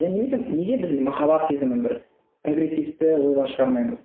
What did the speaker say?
иә немесе неге біз махаббат сезімін бір прогрессивті ойлар шығармаймыз